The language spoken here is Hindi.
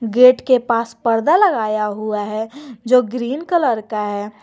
गेट के पास परदा लगाया हुआ है जो ग्रीन कलर का है।